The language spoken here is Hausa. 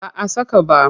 Ba a saka ba.